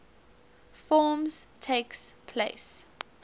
forms takes place